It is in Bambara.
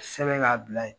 Sɛbɛn k'a bila yen